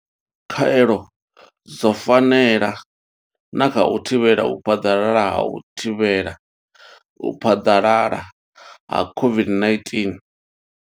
Khaelo dzo fanela na kha u thivhela u phaḓalala ha u thivhela u phaḓalala ha COVID-19.